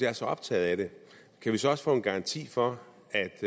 er så optaget af det kan vi så også få en garanti for